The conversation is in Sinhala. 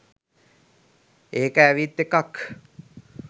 ඒක ඇවිත් එකක්.